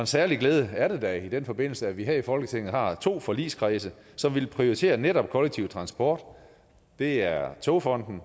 særlig glæde er det da i den forbindelse at vi her i folketinget har to forligskredse som vil prioritere netop kollektiv transport det er togfonden